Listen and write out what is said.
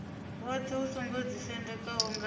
woṱhe u songo ḓisendekaho nga